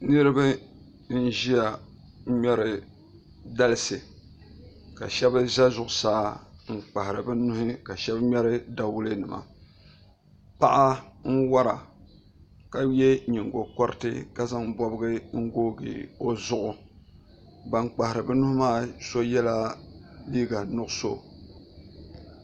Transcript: Niraba n ʒiya n ŋmɛri dalisi ka shab ʒɛ zuɣusaa n kpahari bi nuhi ka shab ŋmɛri dawulɛ nima paɣa n wora ka yɛ nyingokoriti ka zaŋ bobgi n googi o zuɣu ban kpahari bi nuhi maa so yɛla liiga nuɣso